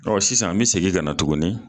Ɔ sisan n bɛ segin ka na tuguni